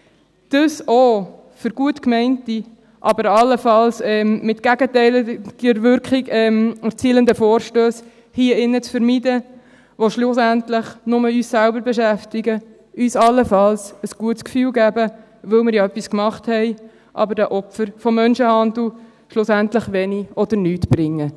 – dies auch, um gut gemeinte, aber allenfalls eine gegenteilige Wirkung erzielende Vorstösse hier in diesem Saal zu vermeiden, die schlussendlich nur uns selber beschäftigen, uns allenfalls ein gutes Gefühl geben, weil wir ja etwas gemacht haben, aber den Opfern von Menschenhandel schlussendlich wenig oder nichts bringen.